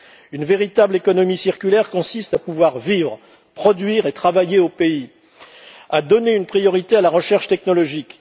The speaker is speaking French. Une véritable économie circulaire consiste à pouvoir vivre, produire et travailler au pays, à donner une priorité à la recherche technologique.